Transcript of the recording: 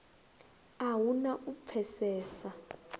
a hu na u pfesesa